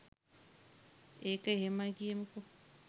ඒක එහෙමයි කියමුකෝ